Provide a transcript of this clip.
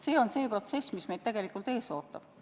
See on protsess, mis meid tegelikult ees ootab.